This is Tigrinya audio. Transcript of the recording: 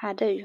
ሓደ እዩ::